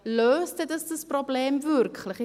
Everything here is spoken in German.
Ja, löst das denn dieses Problem wirklich?